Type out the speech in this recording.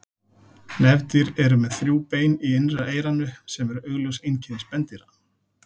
Nefdýr eru með þrjú bein í innra eyranu sem eru augljós einkenni spendýra.